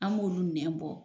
An b'olu nɛ bɔ